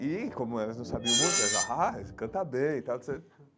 E, como elas não sabiam música, elas diziam, ah, canta bem e tal.